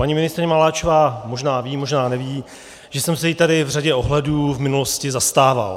Paní ministryně Maláčová možná ví, možná neví, že jsem se jí tady v řadě ohledů v minulosti zastával.